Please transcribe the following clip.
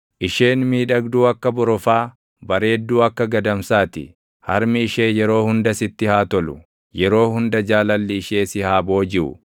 Isheen miidhagduu akka borofaa, bareedduu akka gadamsaa ti; harmi ishee yeroo hunda sitti haa tolu; yeroo hunda jaalalli ishee si haa boojiʼu.